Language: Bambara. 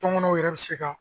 tɔnkɔnɔw yɛrɛ bɛ se ka